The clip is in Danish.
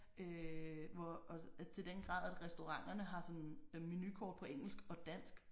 Øh hvor til den grad at restauranterne har sådan menukort på engelsk og dansk